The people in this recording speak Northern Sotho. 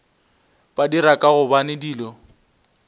ba dira ka gobane dilo